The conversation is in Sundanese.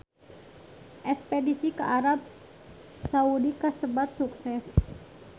Espedisi ka Arab Saudi kasebat sukses